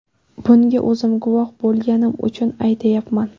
Bunga o‘zim guvoh bo‘lganim uchun aytyapman.